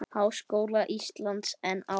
Háskóla Íslands en áður.